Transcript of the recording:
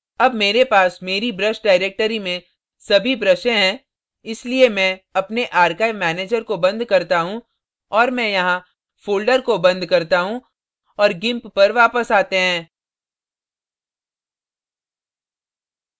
अब मेरे पास मेरी brush directory में सभी ब्रशें हैं इसलिए मैं अपने archive manager को बंद करता हूँ और मैं यहाँ folder को बंद करता हूँ और gimp पर वापस आते हैं